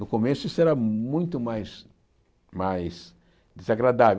No começo, isso era muito mais mais desagradável.